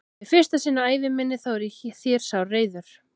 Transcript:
Og í fyrsta sinn á ævi minni þá er ég þér sárreiður.